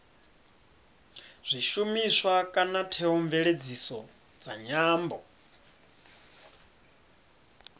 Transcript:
zwishumiswa kana theomveledziso dza nyambo